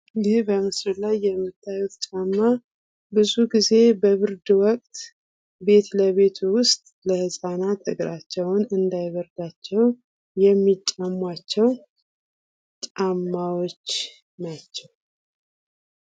ይህ በምስሉ ላይ የምታዩት ጫማ ብዙ ጊዜ በብርድ ወቅት ቤት ለቤት ውስጥ ለህፃናት እግራቸውን እንዳይበርዳቸው ሚጫሟቸው ጫማዎች ናቸው።